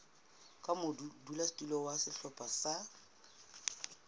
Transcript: ka modulasetulo wa sehlopha sa